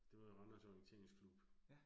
Det var i Randers Orienteringsklub